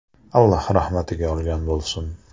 Alloh rahmatiga olgan bo‘lsin!